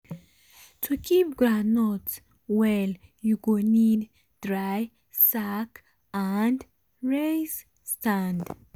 to keep groundnut well u go need dry sack and raise stand.